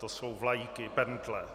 To jsou vlajky, pentle.